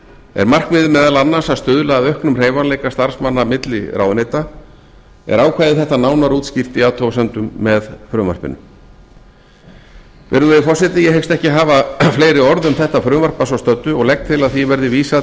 er markmiðið meðal annars að stuðla að auknum hreyfanleika starfsmanna milli ráðuneyta er ákvæði þetta nánar útskýrt í athugasemdum með frumvarpinu virðulegi forseti ég hyggst ekki hafa fleiri orð um þetta frumvarp að svo stöddu og legg til að því verði vísað